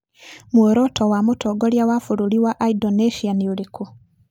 Muoroto wa mũtongoria wa bũrũri wa Indonesia nĩ ũrĩkũ?